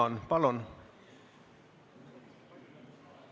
Ja nüüd palun saalil tõusta, Eesti Vabariigi president lahkub.